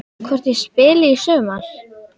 Hvort ég spili í sumar?